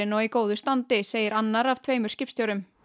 og í góðu standi segir annar af tveimur skipstjórum